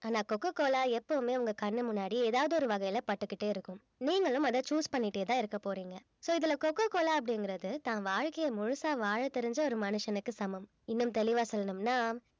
ஆனா coca cola எப்பவுமே உங்க கண்ணு முன்னாடி ஏதாவது ஒரு வகையில பட்டுக்கிட்டே இருக்கும் நீங்களும் அத choose பண்ணிடேதான் இருக்க போறீங்க so இதுல கோகோ கோலா அப்படிங்கறது தன் வாழ்க்கைய முழுசா வாழ தெரிஞ்ச ஒரு மனுஷனுக்கு சமம் இன்னும் தெளிவா சொல்லணும்னா